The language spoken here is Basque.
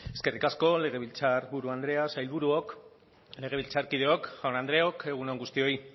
eskerrik asko legebiltzarburu andrea sailburuok legebiltzarkideok jaun andreok egun on guztioi